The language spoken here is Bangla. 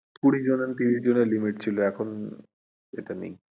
কুড়ি জন আর তিরিশ জনের limit ছিল এখন আর নেই।